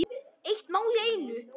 Eitt mál í einu.